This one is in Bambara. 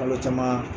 Kalo caman